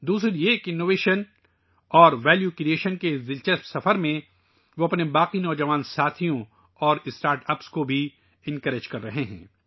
دوسری بات یہ کہ جدت اور قدر پیدا کرنے کے اس دلچسپ سفر میں ، وہ اپنے دوسرے نوجوان ساتھیوں اور اسٹارٹ اپس کی بھی حوصلہ افزائی کر رہے ہیں